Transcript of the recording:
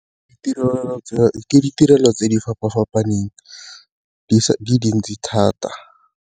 Ditirelo, ke tse ditirelo tse di fapa-fapaneng di dintsi thata.